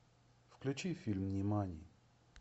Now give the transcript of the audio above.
включи фильм нимани